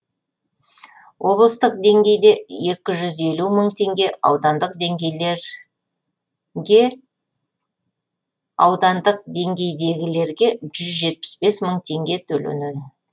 облыстық деңгейде екі жүз елу мың теңге аудандық деңгейдегілерге жүз жетпіс бес мың теңге төленеді